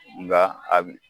Nka a bi